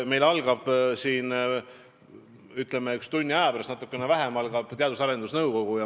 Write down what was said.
Meil algab natuke vähem kui tunni aja pärast Teadus- ja Arendusnõukogu koosolek.